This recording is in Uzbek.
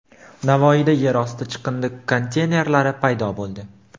Navoiyda yer osti chiqindi konteynerlari paydo bo‘ldi.